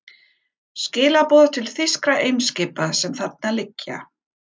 Skilaboð til þýskra eimskipa, sem þarna liggja.